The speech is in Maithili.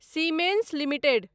siemens limited